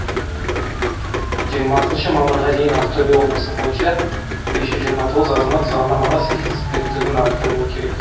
жиырмасыншы мамырға дейін ақтөбе облысы бойынша бес жүз жиырма тоғыз азамат заңнамаға сәйкес біліктілігін арттыруы керек